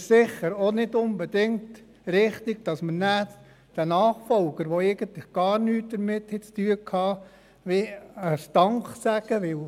Deshalb ist es nicht unbedingt richtig, den Nachfolgern, welche eigentlich gar nichts damit zu haben, Danke sagen zu sagen.